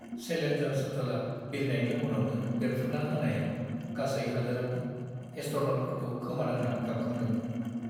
Challenger शट्लआ बिरनायनि उनावनो बेरफ्रुना होनायाव गासै हादोरानो एस्ट्र'न'टफोरखौ खोमानांना गाबखांदोंमोन।